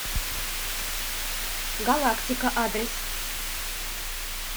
галактика адрес